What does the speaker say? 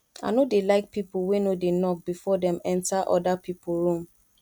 i no dey like pipo wey no dey knock before dem enta oda pipo room